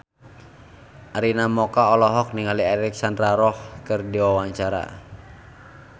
Arina Mocca olohok ningali Alexandra Roach keur diwawancara